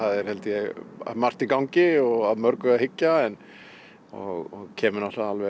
er held ég margt í gangi og að mörgu að hyggja og kemur á